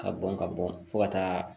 Ka bɔn ka bɔn fo ka taa